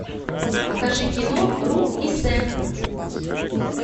покажи кино рут и сэм